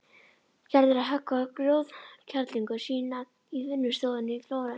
Gerður að höggva grjótkerlingu sína í vinnustofunni í Flórens.